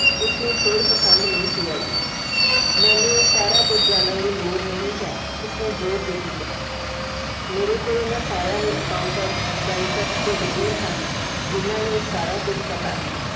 ਉਸਨੂੰ ਖੇਡ ਪਸੰਦ ਨਹੀਂ ਸੀ ਆਈ ਮੈਨੂੰ ਇਹ ਸਾਰਾ ਕੁਝ ਜਾਣਨ ਦੀ ਲੋੜ ਨਹੀਂ ਹੈ ਉਸਨੇ ਜ਼ੋਰ ਦੇ ਕੇ ਕਿਹਾ ਮੇਰੇ ਕੋਲ ਇਹਨਾਂ ਸਾਰਿਆਂ ਲਈ accountant banker ਤੇ ਵਕੀਲ ਹਨ ਜਿੰਨਾ ਨੂੰ ਸਾਰਾ ਕੁਝ ਪਤਾ ਹੈ।